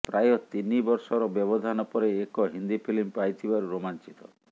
ପ୍ରାୟ ତିନି ବର୍ଷର ବ୍ୟବଧାନ ପରେ ଏକ ହିନ୍ଦୀ ଫିଲ୍ମ ପାଇଥିବାରୁ ରୋମାଞ୍ଚିତ